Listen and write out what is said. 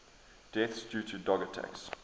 deaths due to dog attacks